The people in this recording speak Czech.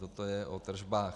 Toto je o tržbách.